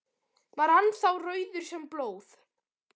Var hann þá rauður sem blóð.